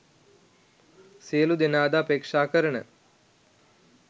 සියලු දෙනාද අපේක්ෂා කරන